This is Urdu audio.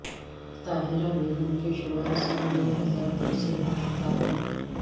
طاہرہ بیگم کے شوہر سنہ دو ہزار دو سے لاپتہ ہیں